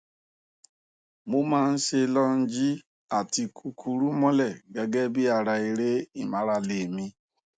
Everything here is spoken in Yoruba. mo má a ń ṣe lọọnjì àti kíkúrú mọlẹ gẹgẹ bí ara eré ìmárale mi